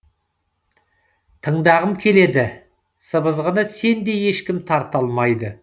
тыңдағым келеді сыбызғыны сендей ешкім тарта алмайды